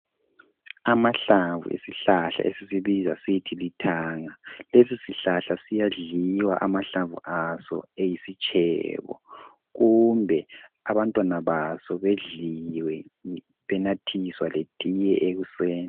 amahlamvu esihlahla esisibiza sisthi lithanga lesi sihlahla siyadliwa amahlamvu aso eyisitshebo kumbe abantwana baso bedliwe benathiswa letiye ekuseni